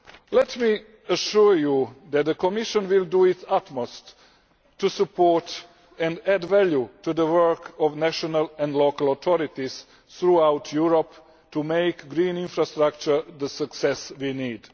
Let me assure you that the Commission will do its utmost to support and add value to the work of national and local authorities throughout Europe to make green infrastructure the success we need.